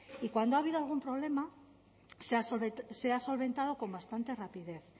y cuando ha habido algún problema se ha solventado con bastante rapidez